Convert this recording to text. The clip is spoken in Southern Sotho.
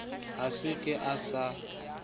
ha se a ka sa